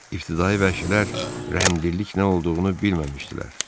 İbtidai vəhşilər rəhmdillik nə olduğunu bilməmişdilər.